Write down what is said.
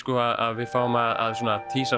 að við fáum að